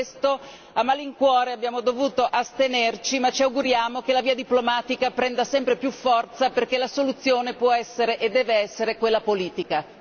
Per questo a malincuore abbiamo dovuto astenerci, ma ci auguriamo che la via diplomatica prenda sempre più forza perché la soluzione può essere e deve essere quella politica.